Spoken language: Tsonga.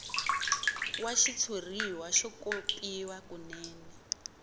wa xitshuriwa xo kopiwa kunene